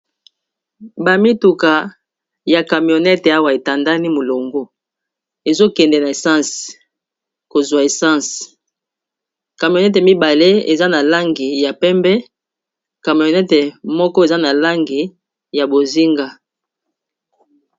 Bamituka ya cameonete awa etandani molongo ezokende na essense kozwa essense camionete mibale eza na langi ya pembe cameonete moko eza na langi ya bozinga